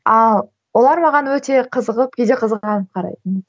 ал олар маған өте қызығып кейде қызғанып қарайтын